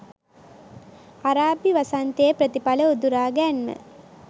අරාබි වසන්තයේ ප්‍රතිඵල උදුරා ගැන්ම